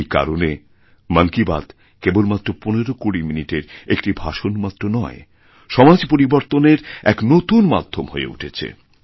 এই কারণে মন কি বাত কেবলমাত্রপনেরোকুড়ি মিনিটের একটি ভাষণমাত্র নয় সমাজ পরিবর্তনের এক নতুন মাধ্যম হয়ে উঠেছে